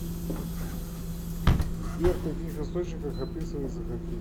сбер в каких источниках описывается хоккей